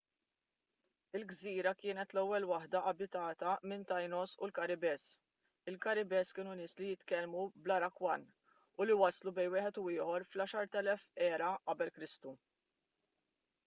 il-gżira kienet l-ewwel waħda abitata mit-taínos u l-karibes. il-karibes kienu nies li jitkellmu bl-arawakan u li waslu bejn wieħed u ieħor fl-10,000 q.e.k